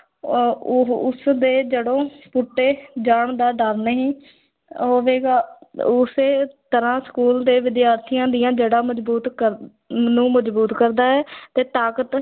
ਅਹ ਉਹ ਉਸ ਦੇ ਜੜ੍ਹੋਂ ਪੁੱਟੇ ਜਾਣ ਦਾ ਡਰ ਨਹੀਂ ਹੋਵੇਗਾ, ਉਸੇ ਤਰ੍ਹਾਂ school ਦੇ ਵਿਦਿਆਰਥੀਆਂ ਦੀਆਂ ਜੜ੍ਹਾਂ ਮਜ਼ਬੂਤ ਕਰ ਨੂੰ ਮਜ਼ਬੂਤ ਕਰਦਾ ਹੈ ਤੇ ਤਾਕਤ